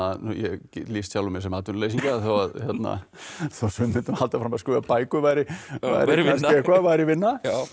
ég hef lýst sjálfum mér sem atvinnuleysingja þó sumir myndu nú halda fram að skrifa bækur væri kannski eitthvað væri vinna